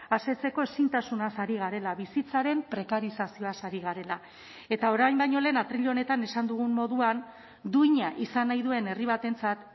asetzeko ezintasunaz ari garela bizitzaren prekarizazioaz ari garela eta orain baino lehen atril honetan esan dugun moduan duina izan nahi duen herri batentzat